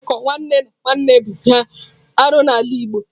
Mmekọ nwanne na nwanne bụ ihe arụ n'ala Igbo.